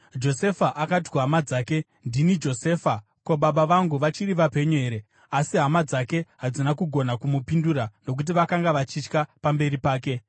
Josefa akati kuhama dzake, “Ndini Josefa! Ko, baba vangu vachiri vapenyu here?” Asi hama dzake hadzina kugona kumupindura, nokuti vakanga vachitya pamberi pake.